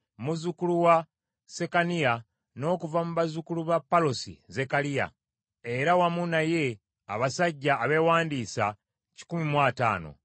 muzzukulu wa Sekaniya, n’okuva mu bazzukulu ba Palosi, Zekkaliya, era wamu naye abasajja abeewandiisa kikumi mu ataano (150);